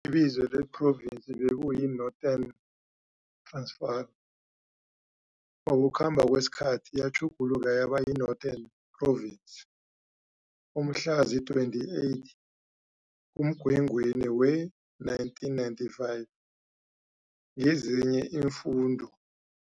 Ibizo lephrovinsi bekuyi-Northern Transvaal, ngokukhamba kwesikhathi yatjhugululwa yaba Northern Province umhlazi-28 kuMgwengweni wee-1995, nezinye iimfunda